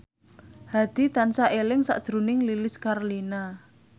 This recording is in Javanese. Hadi tansah eling sakjroning Lilis Karlina